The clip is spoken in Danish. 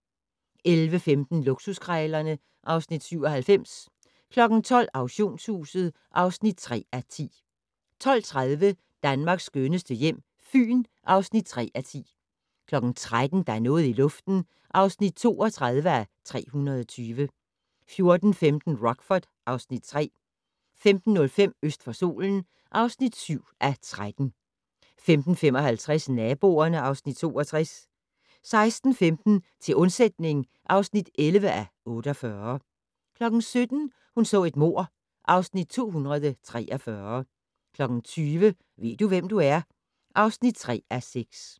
11:15: Luksuskrejlerne (Afs. 97) 12:00: Auktionshuset (3:10) 12:30: Danmarks skønneste hjem - Fyn (3:10) 13:00: Der er noget i luften (32:320) 14:15: Rockford (Afs. 3) 15:05: Øst for solen (7:13) 15:55: Naboerne (Afs. 62) 16:15: Til undsætning (11:48) 17:00: Hun så et mord (Afs. 243) 20:00: Ved du, hvem du er? (3:6)